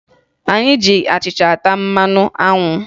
Anyị ji achịcha ata mmanụ anwụ